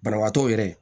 Banabaatɔw yɛrɛ